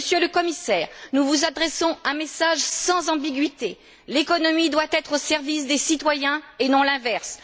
Monsieur le Commissaire, nous vous adressons un message sans ambiguïté l'économie doit être au service des citoyens, et non l'inverse.